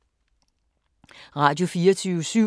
Radio24syv